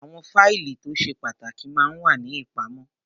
Àwọn fáìlì tó ṣe pàtàkì ma ń wà ní ìpamọ́